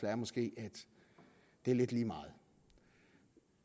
er måske at det er lidt lige meget